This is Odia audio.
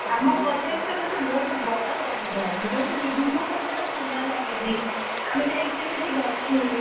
ଆମ college ରେ ଅଛି ଯୋଉଠି ବିଭିନ୍ନ ପ୍ରକାର ଫୁଲ ଲାଗିଛି, ଗୋଟେ ବହୁତ ବଡ ବଗିଚା ଆମେ ଯାଇକି ବି ସେଠି ବସୁ।